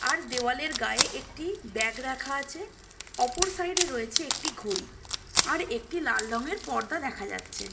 আর দেয়াল এর গায়ে একটি ব্যাগ রাখা আছে অপর সাইড-এ রয়েছে একটি ঘড়ি আর একটি লাল রং এর পর্দা দেখা যাচ্ছে।